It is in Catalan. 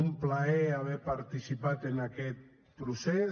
un plaer haver participat en aquest procés